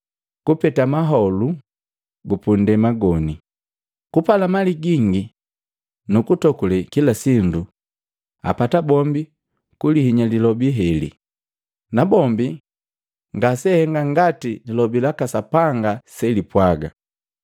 kupete maholu gupundema goni, kupala mali gingi nukutokule kila sindu apataa bombi kulihinya lilobi heli, na bombi ngaseahenga ngati Lilobi laka Sapanga selipwaga.